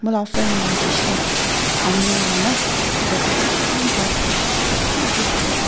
La friend moihan jai she tho amul la na tate man bhal ase eman tasty ase--